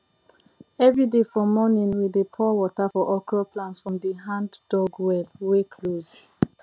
everyday for morning we dey pour water for okro plant from the handdug well wey close